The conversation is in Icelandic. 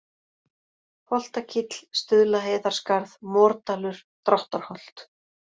Holtakíll, Stuðlaheiðarskarð, Mordalur, Dráttarholt